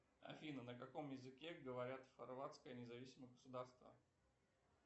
афина на каком языке говорят хорватское независимое государство